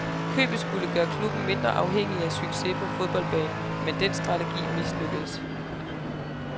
Købet skulle gøre klubben mindre afhængig af succes på fodboldbanen, men den strategi mislykkedes.